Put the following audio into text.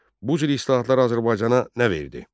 Bu cür islahatlar Azərbaycana nə verdi?